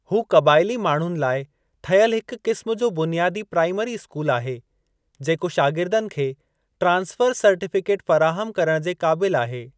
हू क़बाइली माण्हुनि लाइ ठहियलु हिक क़िस्म जो बुनियादी प्राइमरी स्कूलु आहे, जेको शागिरदनि खे ट्रांसफ़र सर्टीफ़िकेट फ़राहमु करण जे क़ाबिलु आहे।